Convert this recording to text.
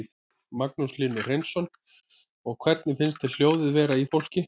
Magnús Hlynur Hreiðarsson: Og hvernig finnst þér hljóðið vera í fólki?